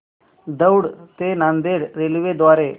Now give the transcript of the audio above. दौंड ते नांदेड रेल्वे द्वारे